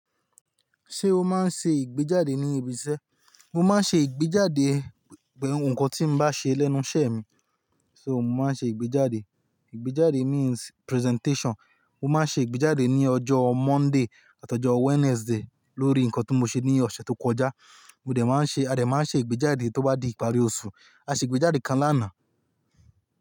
Ṣé o máa ń ṣe ìgbéjáde ní ibi iṣẹ́? Mo máa ń ṣe ìgbéjáde, nkán tí n bá ṣe lẹ́nu iṣẹ́ mi, so mo máa ń ṣe ìgbéjáde. Ìgbéjáde means presentation. Mo máa ń ṣe ìgbéjáde ní ọjọ́ Monday àti ọjọ́ Wednesday lórí nǹkan to mo ṣe ní ọ̀ṣẹ̀ tó kọjá. Mo dẹ máa ń ṣe-- a dẹ máa ń ṣe ìgbéjáde tó bá di ìparí osù. A ṣe ìgbéjáde kan lánàá.